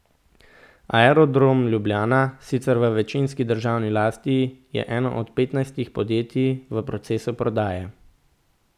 Aerodrom Ljubljana, sicer v večinski državni lasti, je eno od petnajstih podjetij v procesu prodaje.